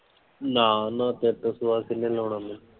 ਨਾ ਨਾ ਤੇਰੇ ਤੋਂ ਸਿਵਾ ਕਿੰਨੇ ਲਾਉਣਾ ਮੈਨੂੰ।